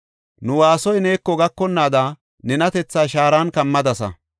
Nu woosay neeko gakonnaada, nenatethaa shaaran kammadasa.